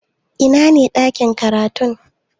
Ina ne ɗakin karatu?